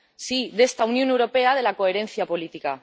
Sí, de esta Unión Europea de la coherencia política.